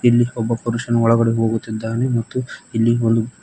ಇಲ್ಲಿ ಒಬ್ಬ ಪುರುಷನು ಒಳಗಡೆ ಹೋಗುತ್ತಿದ್ದಾನೆ ಮತ್ತು ಇಲ್ಲಿ ಒಂದು--